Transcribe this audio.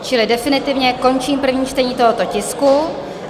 Čili definitivně končím první čtení tohoto tisku.